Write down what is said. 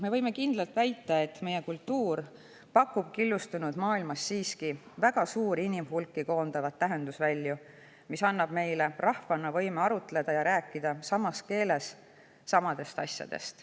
Me võime kindlalt väita, et meie kultuur pakub killustunud maailmas siiski väga suuri inimhulki koondavaid tähendusvälju, mis annab meile rahvana võime arutleda ja rääkida samas keeles samadest asjadest.